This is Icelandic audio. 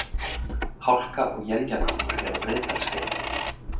Hálka og éljagangur er á Breiðdalsheiði